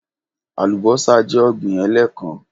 Alubọ́sá jẹ́ ọ̀gbín ẹ̀lẹ́kán